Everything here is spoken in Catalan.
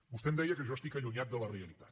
vostè em deia que jo estic allunyat de la realitat